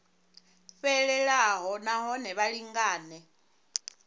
fhelelaho na hone vha lingane